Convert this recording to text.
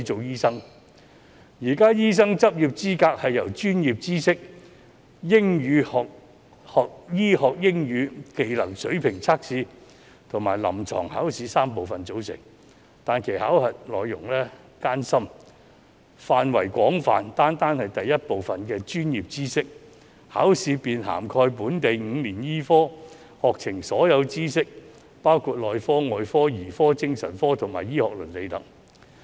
現時的醫生執業資格試由專業知識考試、醫學英語技能水平測驗及臨床考試3部分組成，但其考核內容艱深，範圍廣泛，單單是第一部分的專業知識考試便涵蓋本地5年醫科課程的所有知識，包括內科、外科、兒科、精神科及醫學倫理等。